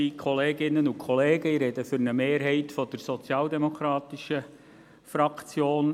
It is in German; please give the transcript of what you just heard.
Ich spreche für eine Mehrheit der SP-JUSO-PSA-Fraktion.